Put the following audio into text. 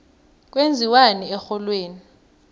kwenziwani erholweni